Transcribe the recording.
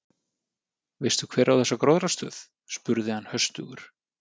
Veistu hver á þessa gróðrarstöð? spurði hann höstugur.